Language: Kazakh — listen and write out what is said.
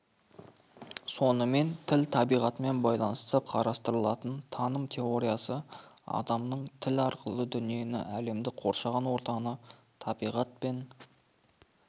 сонымен тіл табиғатымен байланысты қарастырылатын таным теориясы адамның тіл арқылы дүниені әлемді қоршаған ортаны табиғат пен